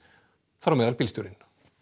þar á meðal bílstjórinn